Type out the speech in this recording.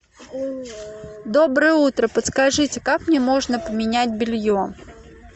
доброе утро подскажите как мне можно поменять белье